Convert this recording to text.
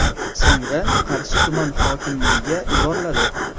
So‘ngra Qarshi tuman hokimligiga yuboriladi.